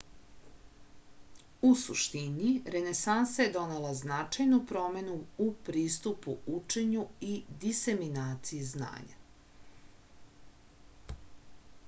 u suštini renesansa je donela značajnu promenu u pristupu učenju i diseminaciji znanja